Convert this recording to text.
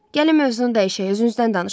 Gəlin mövzunu dəyişək, özünüzdən danışın.